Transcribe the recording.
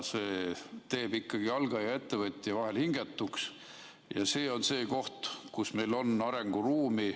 See teeb ikkagi algaja ettevõtja vahel hingetuks ja see on see koht, kus meil on arenguruumi.